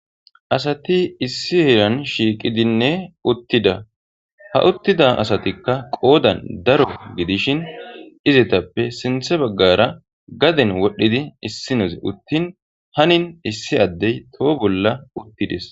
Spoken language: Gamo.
asati issi heran shiiqidinne uttida ha uttida asatikka qoodan daro gidishin izetappe sinthe baggara gaden wodhdhidi issi nozi uttin hanin issi addey toho bolla uttides